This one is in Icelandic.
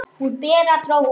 Hún, Bera, dró úr.